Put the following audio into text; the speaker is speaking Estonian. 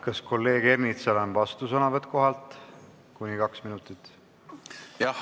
Kas kolleeg Ernitsal on vastusõnavõtt kohalt, kuni kaks minutit?